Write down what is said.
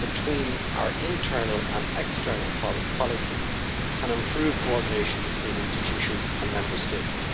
between our internal and external policies and improve coordination between institutions and Member States.